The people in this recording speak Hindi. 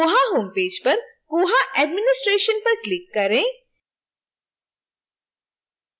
koha homepage पर koha administration पर click करें